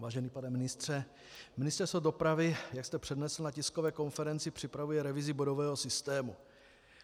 Vážený pane ministře, Ministerstvo dopravy, jak jste přednesl na tiskové konferenci, připravuje revizi bodového systému.